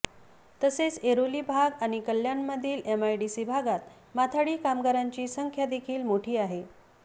तसेच ऐरोली भाग आणि कल्याणमधील एमआयडीसी भागात माथाडी कामगारांची संख्या देखील मोठी आहे